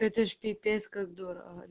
это ж пипец как дорого